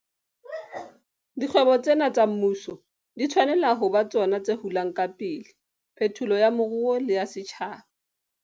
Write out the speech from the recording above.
Dikgwebo tsena tsa mmuso di tshwanela ho ba tsona tse hulang ka pele phetolo ya moruo le ya setjhaba.